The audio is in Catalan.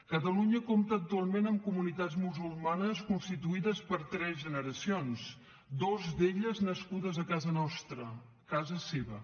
catalunya compta actualment amb comunitats musulmanes constituïdes per tres generacions dues d’elles nascudes a casa nostra casa seva